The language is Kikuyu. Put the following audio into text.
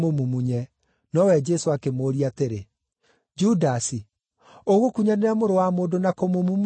nowe Jesũ akĩmũũria atĩrĩ, “Judasi, ũgũkunyanĩra Mũrũ wa Mũndũ na kũmũmumunya?”